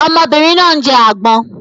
Ọmọbìnrin náà ń jẹ agbon